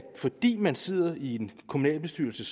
fordi man sidder i en kommunalbestyrelse